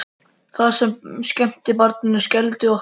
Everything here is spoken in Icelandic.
Það sem skemmti barninu skelfdi okkur.